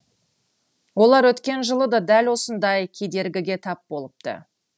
олар өткен жылы да дәл осындай кедергіге тап болыпты